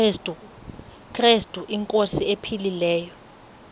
krestu inkosi ephilileyo